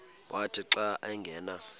wathi xa angena